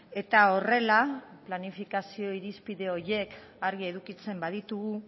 eta horrela planifikazio irizpide horiek argi edukitzen baditugu